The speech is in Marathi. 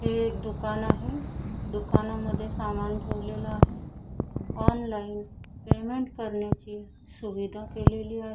हे एक दुकान आहे दुकानामध्ये सामान ठेवलेलं आहे ऑनलाईन पेमेंट करण्याची सुविधा केलेली आ--